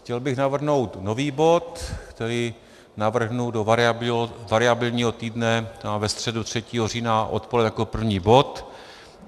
Chtěl bych navrhnout nový bod, který navrhnu do variabilního týdne ve středu 3. října odpoledne jako první bod.